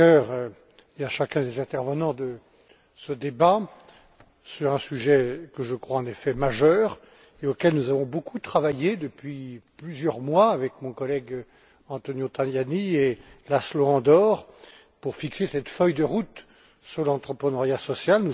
Becker et à chacun des intervenants dans ce débat sur un sujet que je crois en effet majeur, et auquel nous avons beaucoup travaillé depuis plusieurs mois, avec mes collègues Antonio Tajani et László Andor, pour fixer cette feuille de route sur l'entrepreneuriat social.